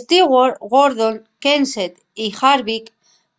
stewart gordon kenseth y harvick